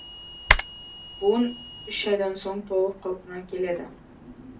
буын үш айдан соң толық қалпына келеді